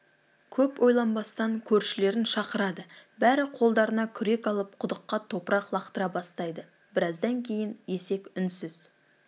көп ойланбастан көршілерін шақырады бәрі қолдарына күрек алып құдыққа топырақ лақтыра бастайды біраздан кейін есек үнсіз